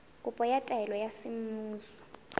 kopo ya taelo ya semmuso